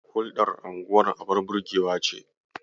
Hulɗar unguwar abun burgewa ce.